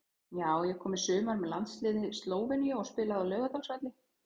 Já ég kom í sumar með landsliði Slóveníu og spilaði á Laugardalsvelli.